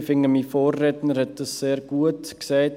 Ich finde, mein Vorredner hat dies sehr gut gesagt.